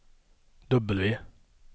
W